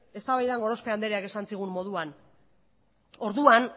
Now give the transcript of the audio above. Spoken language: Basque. eztabaidan gorospe andreak esan zigun moduan orduan